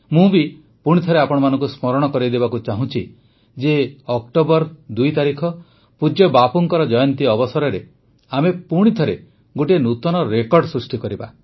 ମୁଁ ବି ପୁଣିଥରେ ଆପଣମାନଙ୍କୁ ସ୍ମରଣ କରାଇଦେବାକୁ ଚାହୁଁଛି ଯେ ୨ ଅକ୍ଟୋବର ପୂଜ୍ୟ ବାପୁଙ୍କ ଜୟନ୍ତୀ ଅବସରରେ ଆମେ ପୁଣିଥରେ ଗୋଟିଏ ନୂତନ ରେକର୍ଡ଼ ସୃଷ୍ଟି କରିବା